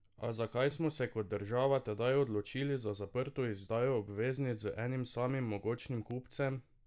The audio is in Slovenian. A zakaj smo se kot država tedaj odločili za zaprto izdajo obveznic z enim samim mogočnim kupcem?